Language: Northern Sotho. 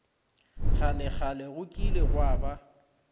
kgalekgale go kile gwa ba